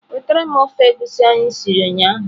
Wetara m ofe egusi anyị siri ụnyahụ!.